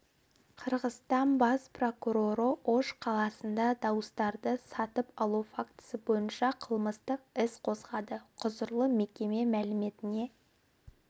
қырғызстан бас прокуроры ош қаласында дауыстарды сатып алу фактісі бойынша қылмыстық іс қозғады құзырлы мекеме мәліметіне